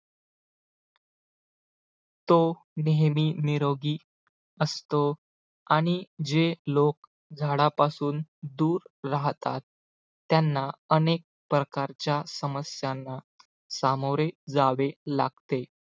तो नेहमी निरोगी असतो आणि जे लोक झाडापासून दूर राहतात त्यांना अनेक प्रकारच्या समस्यांना सामोरे जावे लागते.